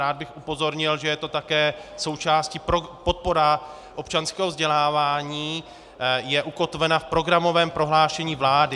Rád bych upozornil, že je to také součástí - podpora občanského vzdělávání je ukotvena v programovém prohlášení vlády.